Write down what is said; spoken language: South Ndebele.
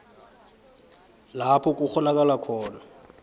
lapho kukghonakala khona